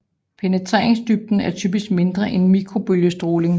Penetreringsdybden er typisk mindre end mikrobølge stråling